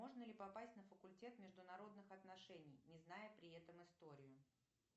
можно ли попасть на факультет международных отношений не зная при этом историю